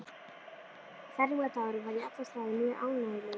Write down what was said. Fermingardagurinn var í alla staði mjög ánægjulegur.